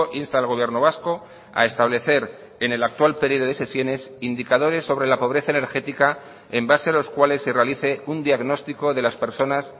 insta al gobierno vasco a establecer en el actual periodo de sesiones indicadores sobre la pobreza energética en base a los cuales se realice un diagnóstico de las personas